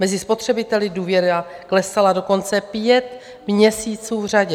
Mezi spotřebiteli důvěra klesala dokonce pět měsíců v řadě.